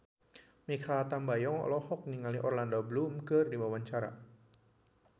Mikha Tambayong olohok ningali Orlando Bloom keur diwawancara